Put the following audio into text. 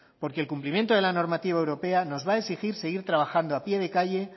porque el cumplimiento de la normativa europea nos va a exigir seguir trabajando a pie de calle